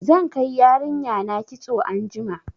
Zan kai yarinya na kitso anjima.